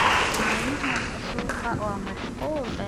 Maalmaha suuqu waa mashquul.